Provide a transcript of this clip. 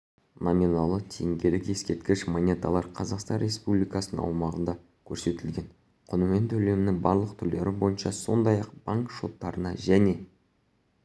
номиналы теңгелік ескерткіш монеталар қазақстан республикасыаумағында көрсетілген құнымен төлемнің барлық түрлері бойынша сондай-ақ банк шоттарына және